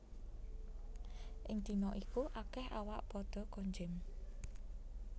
Ing dina iku akèh awak padha konjem